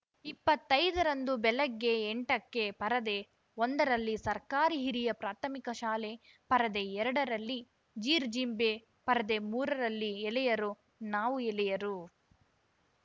ಇಪ್ಪತ್ತೈದರಂದು ಬೆಳಿಗ್ಗೆ ಎಂಟಕ್ಕೆ ಪರದೆ ಒಂದ ರಲ್ಲಿ ಸರ್ಕಾರಿ ಹಿರಿಯ ಪ್ರಾಥಮಿಕ ಶಾಲೆ ಪರದೆ ಎರಡ ರಲ್ಲಿ ಜೀರ್ಜಿಂಬೆ ಪರದೆ ಮೂರರಲ್ಲಿ ಎಳೆಯರು ನಾವು ಎಳೆಯರು